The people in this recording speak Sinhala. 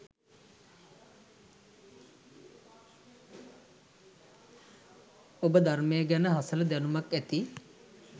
ඔබ ධර්මය ගැන හසල දැනුමක් ඇති